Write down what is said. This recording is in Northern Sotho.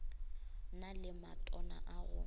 na le matona a go